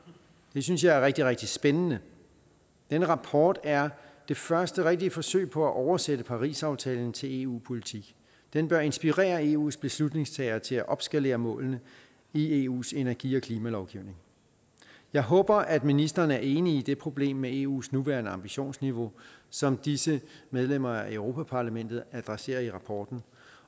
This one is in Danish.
det synes jeg er rigtig rigtig spændende den rapport er det første rigtige forsøg på at oversætte parisaftalen til eu politik den bør inspirere eus beslutningstagere til at opskalere målene i eus energi og klimalovgivning jeg håber at ministeren er enig i problemet med eus nuværende ambitionsniveau som disse medlemmer af europa parlamentet adresserer i rapporten